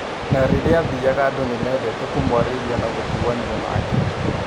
Na rĩrĩa athiaga andũ nĩmendete kũmwarĩria na gũtuanio nake.